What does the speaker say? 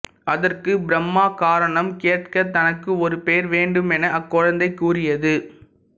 அதற்கு பிரம்மா காரணம் கேட்க தனக்கு ஒரு பெயர் வேண்டுமென அக்குழந்தை கூறியது